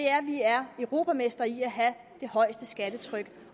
er at vi er europamestre i at have det højeste skattetryk